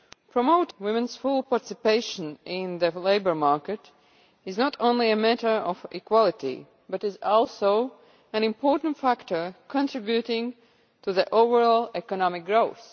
Promoting women's full participation in the labour market is not only a matter of equality but also an important factor contributing to overall economic growth.